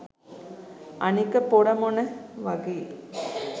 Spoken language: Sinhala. අනික පොර මොන වගේ